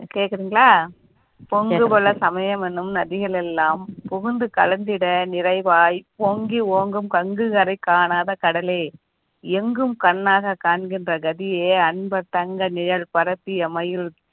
கேக்குறீங்களா பொங்கு கோல சமயம் எனும் நதிகள் எல்லாம் புகுந்து கலந்திட நிறைவாய் பொங்கி ஓங்கும் கங்கு கரை காணாத கடலே எங்கும் கண்ணாக காண்கின்ற கதியே அன்பு தங்க நிழல் பரப்பிய மயில்